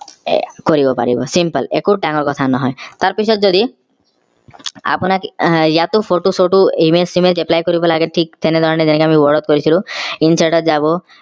এ কৰিব পাৰিব simple একো ডাঙৰ কথা নহয় তাৰ পিছত যদি আপোনাক আহ ইয়াতো photo image apply কৰিব লাগে ঠিক তেনেধৰনে যেনেকে আমি word ত কৰিছিলো insert ত যাব